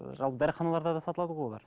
ыыы жалпы дәріханаларда да сатылады ғой олар